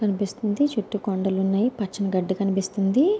కనిపిస్తుంది చుట్టూ కొండలున్నాయి పచ్చని గడ్డి కనిపిస్తుంది.